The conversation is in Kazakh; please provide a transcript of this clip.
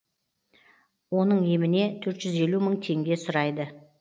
оның еміне төрт жүз елу мың теңге сұрайды